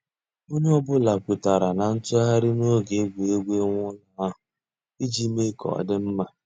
Ònyè ọ̀ bula kwètàrárà nà ntụ̀ghàrì n'ògè ègwurégwụ̀ ị̀wụ̀ èlù ahu íjì mée kà ọ̀ dị mma.